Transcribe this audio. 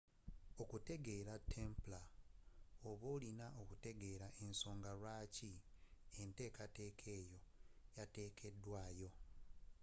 okutegeera templar oba olina okutegeera ensonga lwaaki enteekateeka eyo yateekebwaawo